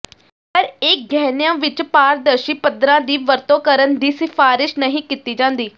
ਪਰ ਇਹ ਗਹਿਣਿਆਂ ਵਿਚ ਪਾਰਦਰਸ਼ੀ ਪੱਥਰਾਂ ਦੀ ਵਰਤੋਂ ਕਰਨ ਦੀ ਸਿਫਾਰਸ਼ ਨਹੀਂ ਕੀਤੀ ਜਾਂਦੀ